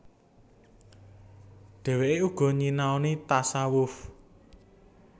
Dhèwèké uga nyinaoni tasawuf